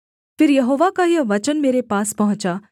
फिर यहोवा का यह वचन मेरे पास पहुँचा